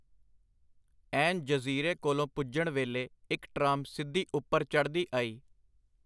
ਐਨ ਜਜ਼ੀਰੇ ਕੋਲ ਪੁਜਣ ਵੇਲੇ ਇਕ ਟ੍ਰਾਮ ਸਿੱਧੀ ਉਪਰ ਚੜ੍ਹਦੀ ਆਈ.